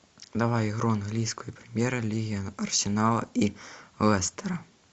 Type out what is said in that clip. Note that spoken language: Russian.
давай игру английской премьер лиги арсенала и лестера